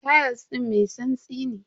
Tayal din mai tsantsi ne.